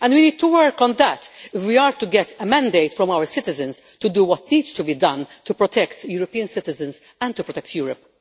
We need to work on that if we are to get a mandate from our citizens to do what needs to be done to protect European citizens and Europe.